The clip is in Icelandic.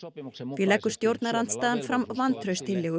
því leggur stjórnarandstaðan fram vantrauststillögu